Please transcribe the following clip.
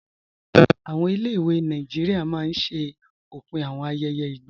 Awọn ilẹ̀-ìwé Nàìjíríà máa n ṣẹ̀ òpin awọn ayẹyẹ igba.